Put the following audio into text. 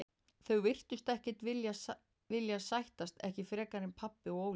Þau virtust ekkert vilja sættast, ekki frekar en pabbi og Óli.